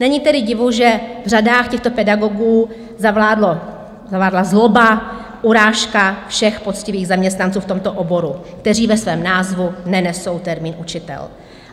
Není tedy divu, že v řadách těchto pedagogů zavládla zloba, urážka všech poctivých zaměstnanců v tomto oboru, kteří ve svém názvu nenesou termín učitel.